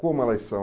Como elas são?